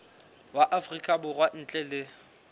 wa afrika borwa ntle le